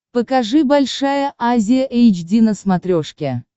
покажи большая азия эйч ди на смотрешке